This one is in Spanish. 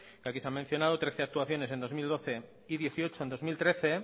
que aquí se han mencionado trece actuaciones en dos mil doce y dieciocho en dos mil trece